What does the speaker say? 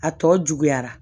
A tɔ juguyara